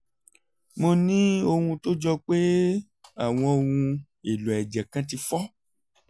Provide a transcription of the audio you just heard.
mo ní ohun tó jọ pé àwọn ohun-èlò ẹ̀jẹ̀ kan ti fọ́